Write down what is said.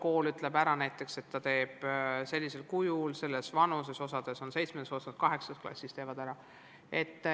Kool ütleb, et ta teeb seda sellisel kujul ja sellises vanuses, osa teeb selle 7. ja osa 8. klassis.